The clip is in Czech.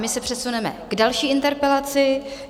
My se přesuneme k další interpelaci.